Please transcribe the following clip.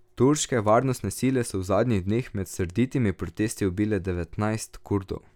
Turške varnostne sile so v zadnjih dneh med srditimi protesti ubile devetnajst Kurdov.